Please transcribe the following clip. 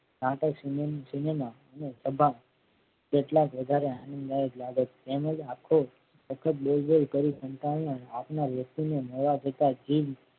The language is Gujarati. નાટક સિનેમા અને સભા જેટલા જ વધારે તેમ જ આખો સખત બોલ બોલ કરી સંતાનને આપનાર વ્યક્તિને મળવા છતાંય જીભ